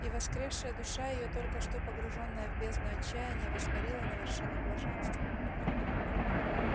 и воскресшая душа её только что погруженная в бездну отчаяния воспарила на вершину блаженства